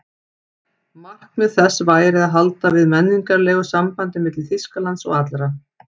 Markmið þess væri að halda við menningarlegu sambandi milli Þýskalands og allra